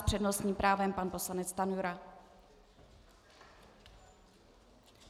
S přednostním právem pan poslanec Stanjura.